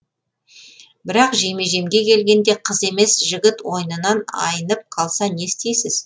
бірақ жеме жемге келгенде қыз емес жігіт ойнынан айнып қалса не істейсіз